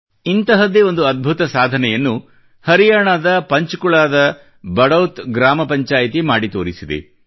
ಇಂತಹದ್ದೇ ಒಂದು ಅದ್ಭುತ ಸಾಧನೆಯನ್ನು ಹರಿಯಾಣಾದ ಪಂಚಕುಲಾದ ಬಡೌತ್ ಗ್ರಾಮ ಪಂಚಾಯಿತಿ ಮಾಡಿ ತೋರಿಸಿದೆ